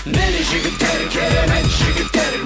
міне жігіттер керемет жігіттер